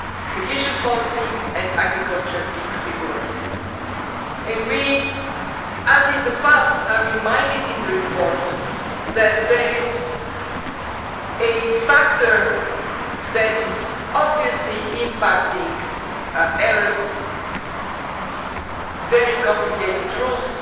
cohesion policy and agriculture in particular and as in the past we are reminded in the report that there is a factor that is obviously impacting errors, namely very complicated rules